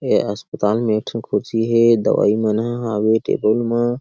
ए अस्पातल में एक ठन खुर्सी हे दवई मन ह हावे टेबुल मा--